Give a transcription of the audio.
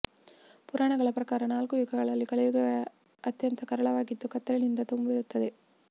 ಪುರಾಣಗಳ ಪ್ರಕಾರ ನಾಲ್ಕು ಯುಗಗಳಲ್ಲಿ ಕಲಿಯುಗವೇ ಅತ್ಯಂತ ಕರಾಳವಾಗಿದ್ದು ಕತ್ತಲಿನಿಂದ ತುಂಬಿರುತ್ತದೆ